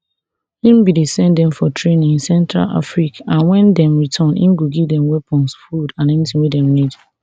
im bin dey send dem for training in central afriq and wen dem return im go give dem weapons food and anytin wey dem need